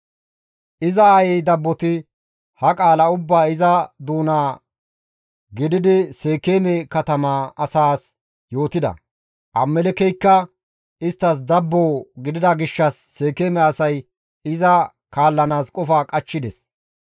Iza aayey dabboti ha qaala ubbaa iza doona gididi Seekeeme katama asaas yootida; Abimelekkeykka isttas dabbo gidida gishshas Seekeeme asay iza kaallanaas qofa qachchides.